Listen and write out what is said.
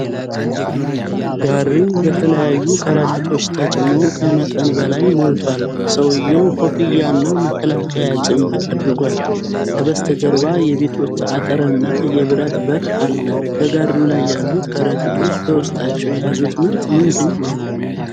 ጋሪው በተለያዩ ከረጢቶች ተጭኖ ከመጠን በላይ ሞልቷል። ሰውየው ኮፍያና መከላከያ ጭምብል አድርጓል። ከበስተጀርባ የቤቶች አጥር እና የብረት በር አለ። በጋሪው ላይ ያሉት ከረጢቶች በውስጣቸው የያዙት ምርት ምንድን ነው?